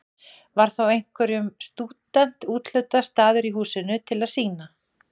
Var þá hverjum stúdent úthlutaður staður í húsinu til að sýna.